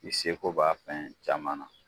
I seko b'a fɛn caman na.